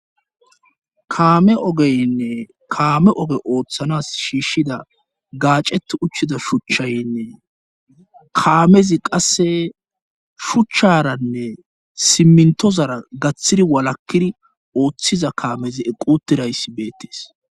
kaame ogeynne kaame oge ooththanas shiishida gaacet uchchida shuchchaynne kaamezi qasse shuchcharanne simmintozara gaththiri walakkiri ooththiza kaamezi equtirayssi beettees.